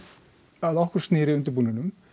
að okkur snýr í undirbúningnum